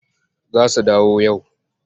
Za su dawo yau.